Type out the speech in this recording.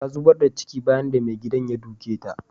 Ta zubar da ciki bayan da maigidan ya duke ta.